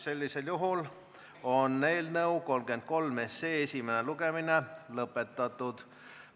Sellisel juhul on eelnõu 33 esimene lugemine lõpetatud.